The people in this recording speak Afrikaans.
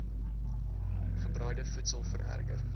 gebraaide voedsel vererger